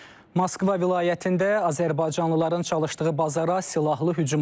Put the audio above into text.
Moskva vilayətində azərbaycanlıların çalışdığı bazara silahlı hücum olub.